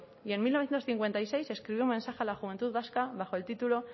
y en mil novecientos cincuenta y seis escribió un mensaje a la juventud vasca bajo el título